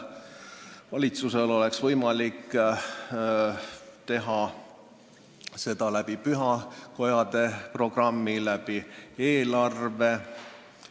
Valitsusel oleks võimalik eraldada raha pühakodade programmi, riigieelarve kaudu.